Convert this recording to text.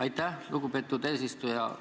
Aitäh, lugupeetud eesistuja!